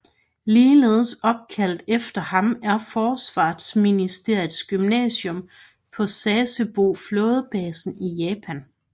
Ligeledes opkaldt efter ham er forsvarsministeriets gymnasium på Sasebo flådebasen i Japan